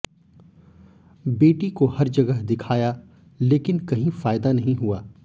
बेटी को हर जगह दिखाया लेकिन कहीं फायदा नहीं हुआ